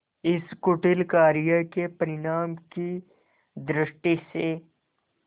इस कुटिल कार्य के परिणाम की दृष्टि से